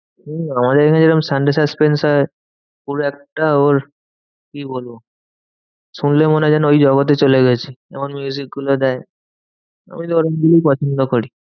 হম আমাদের এখানে যেরকম sunday suspense হয় ওর একটা ওর কি বলবো? শুনলে মনে হয় যেন ওই জগতে চলে গেছি এমন গুলো দেয়। ওই পছন্দ করি।